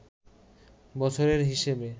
বছরের হিসেবে